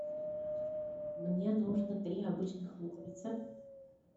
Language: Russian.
мне нужно три обычных луковицы